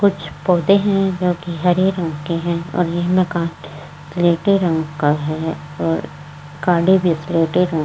कुछ पौधे हैं जो कि हरे रंग के हैं और यह मकान स्लेटे रंग का है और गाडी भी स्लेटे रंग --